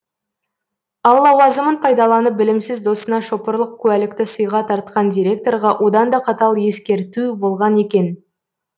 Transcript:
ал лауазымын пайдаланып білімсіз досына шопырлық куәлікті сыйға тартқан директорға одан да қатал ескерту болған екен